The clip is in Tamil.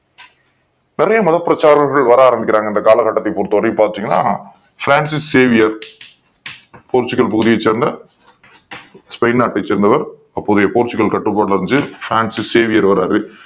நிறைய மதப் பிரச்சாரகர்கள் வர ஆரம் பிக்கிறாங்க இந்த காலகட்டத்தைப் பொறுத் தவரை பாத்தீங்கன்னா Francis Xavier Portugal சேர்ந்த ஸ்பெயின் நாட்டை சேர்ந்தவர் அப்போதைய Portugal கட்டுப் பாட்டில் இருந்த Francis Xavier வாராரு